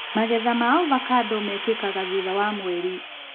Magetha ma ovacando mekĩkaga thutha wa mweri.